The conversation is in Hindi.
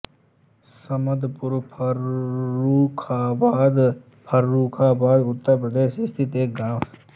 समदपुर फर्रुखाबाद फर्रुखाबाद उत्तर प्रदेश स्थित एक गाँव है